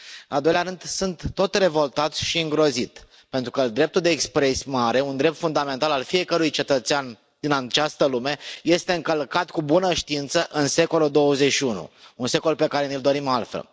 În al doilea rând, sunt tot revoltat și îngrozit, pentru că dreptul de exprimare, un drept fundamental al fiecărui cetățean din această lume, este încălcat cu bună știință în secolul XXI, un secol pe care ni l dorim altfel.